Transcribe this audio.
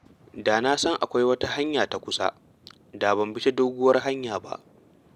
Da na san akwai wata hanya ta kusa, da ban bi ta doguwar hanya ba.